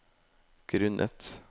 grunnet